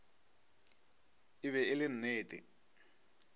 e be e le nnete